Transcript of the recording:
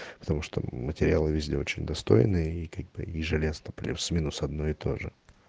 потому что материалы везде очень достойные и ежи лец плюс-минус одно и тоже